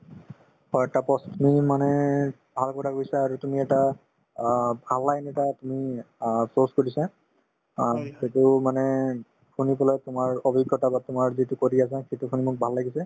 হয়, তাপশ তুমি মানে ভাল কথা কৈছা আৰু তুমি এটা অ ভাল line এটা তুমি অ দিছা অ সিটোও মানে শুনি পেলাই তোমাৰ অভিজ্ঞতা বা তোমাৰ যিটো কৰি আছা সিটোৰ কাৰণে মোক ভাল লাগিছে